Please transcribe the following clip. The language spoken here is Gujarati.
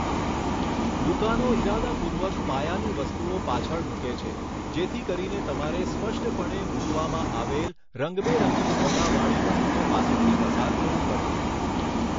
દુકાનો ઈરાદાપૂર્વક પાયાની વસ્તુઓ પાછળ મૂકે છે, જેથી કરીને તમારે સ્પષ્ટપણે મૂકવામાં આવેલ, રંગબેરંગી સોદાવાળી વસ્તુઓ પાસેથી પસાર થવું પડે.